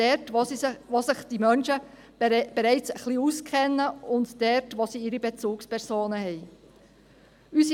Dort, wo sich diese Menschen bereits etwas auskennen und sie ihre Bezugspersonen haben.